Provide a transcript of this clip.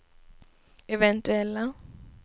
eventuella